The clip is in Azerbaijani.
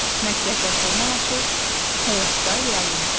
Məktəbdə formalaşır, həyatda reallaşır.